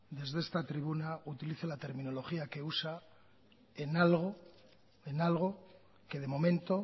desde esta tribuna utilice la terminología que usa en algo que de momento